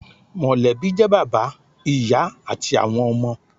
Mọ̀lẹ́bí jẹ́ bàbá, ìyá àti àwọn ọmọ